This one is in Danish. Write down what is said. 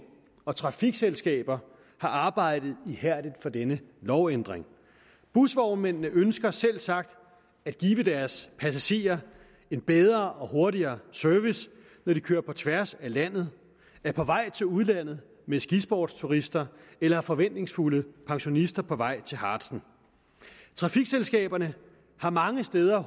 og trafikselskaber har arbejdet ihærdigt for denne lovændring busvognmændene ønsker selvsagt at give deres passagerer en bedre og hurtigere service når de kører på tværs af landet er på vej til udlandet med skisportsturister eller forventningsfulde pensionister på vej til harzen trafikselskaberne har mange steder